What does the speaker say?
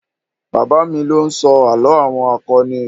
Bàbá mi ló ń sọ àlọ́ àwọn akọni.